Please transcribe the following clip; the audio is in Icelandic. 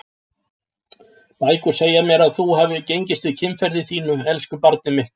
Bækur segja mér að þú hafir gengist við kynferði þínu, elsku barnið mitt.